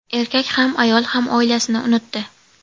Erkak ham, ayol ham oilasini unutdi.